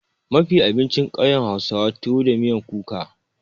Mafi abincin ƙauyen hausawa tuwo da miyan kuka.